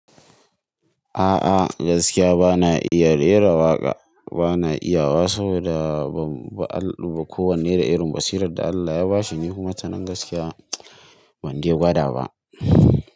A'a gaskiya bana iya rera waƙa, bana iya wa saboda ba kowanne da irin basirar da Allah ya ba shi, ni kuma ta nan gaskiya banje gwada ba.